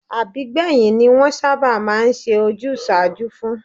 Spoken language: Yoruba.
Àbígbẹ̀yìn ni wọ́n sábà máa ń ṣe ojúsàájú fún